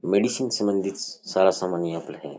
Medicine संबंधित सारा सामान यहां पर है।